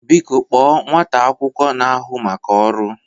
Biko kpọọ nwata akwụkwọ na-ahụ maka ọrụ!